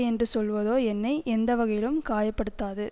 என்று சொல்லுவதோ என்னை எந்தவகையிலும் காயப்படுத்தாது